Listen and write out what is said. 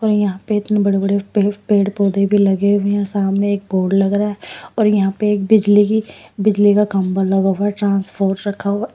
और यहां पे इतनी बड़े बड़े पे पेड़ पौधे भी लगे हुए हैं सामने एक बोर्ड लग रहा है और यहां पे एक बिजली की बिजली का खंभा लगा होगा ट्रांसफॉर रखा हुआ--